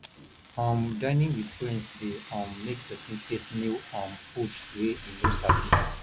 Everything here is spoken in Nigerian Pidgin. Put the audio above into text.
um dinning with friends de um make persin taste new um foods wey e no sabi